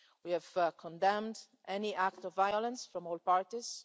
We have condemned any act of violence, from all parties.